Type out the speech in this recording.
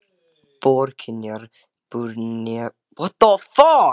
Fjörgynjar bur neppur frá naðri níðs ókvíðinn.